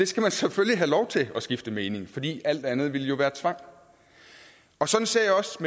skal selvfølgelig have lov til at skifte mening fordi alt andet ville jo være tvang sådan ser jeg også